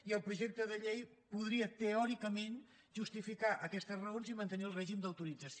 i el projecte de llei podria teòricament justificar aquestes raons i mantenir el règim d’autorització